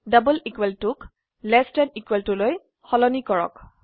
double equal টুক less then equal টুলৈ সলনি কৰক